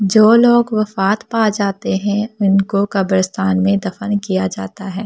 जो लोग वफात पा जाते हैं उनको कब्रिस्तान में दफन किया जाता है और --